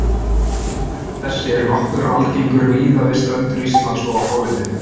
Vindur sem þessi er nokkuð algengur víða við strendur Íslands og á hálendinu.